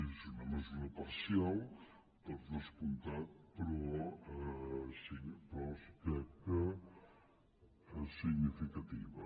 és una mesura parcial per descomptat però crec que significativa